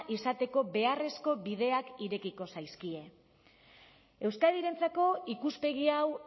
izateko beharrezko bideak irekiko zaizkie euskadirentzako ikuspegi hau